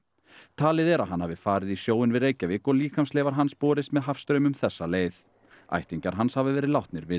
talið er að hann hafi farið í sjóinn við Reykjavík og líkamsleifar hans borist með hafstraumum þessa leið ættingjar hans hafa verið látnir vita